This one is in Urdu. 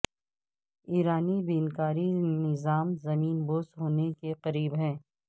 ایرانی بینکاری نظام زمین بوس ہونے کے قریب ہے